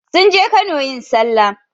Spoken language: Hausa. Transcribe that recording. Sun je Kano yin sallah.